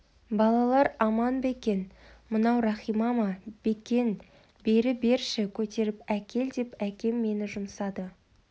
балалар аман ба екен мынау рахима ма бекен бері берші көтеріп әкел деп әкем мені жұмсады